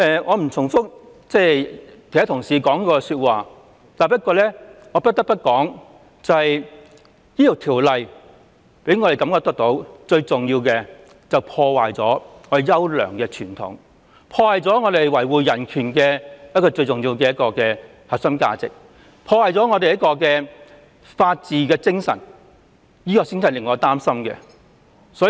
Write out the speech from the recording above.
我不重複其他同事的論點，但我不得不說的是，我認為《條例草案》破壞了我們的優良傳統，破壞了我們維護人權的核心價值，破壞了法治精神，這就是我真正擔心的狀況。